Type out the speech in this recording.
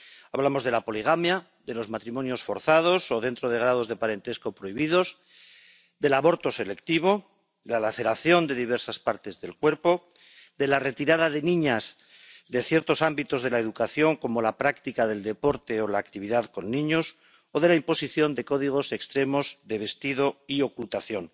Hablamos de la poligamia, de los matrimonios forzados o dentro de grados de parentesco prohibidos, del aborto selectivo, de la laceración de diversas partes del cuerpo, de la retirada de niñas de ciertos ámbitos de la educación, como la práctica del deporte o la actividad con niños, o de la imposición de códigos extremos de vestido y ocultación.